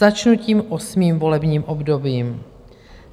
Začnu tím 8. volebním obdobím.